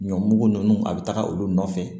Ɲɔ mugu ninnu a bɛ taga olu nɔfɛ